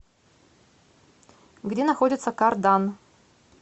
где находится кардан